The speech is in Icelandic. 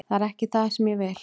Það er ekki það sem ég vil.